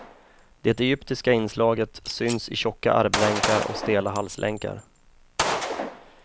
Det egyptiska inslaget syns i tjocka armlänkar och stela halslänkar.